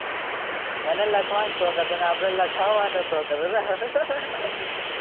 એને લખવાનો શોખ હતો ને આપણને લખાવાનો શોખ હતો ને